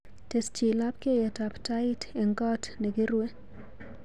Tesyi labkeiyetab tait eng koot negirue